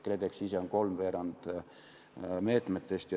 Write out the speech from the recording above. KredEx tähendab kolmveerandit meetmetest.